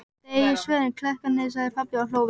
Þið eigið svörin, klerkarnir, sagði pabbi og hló við.